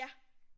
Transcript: Ja